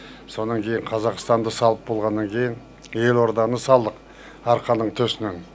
сонан кейін қазақстанды салып болғаннан кейін елорданы салдық арқаның төсінен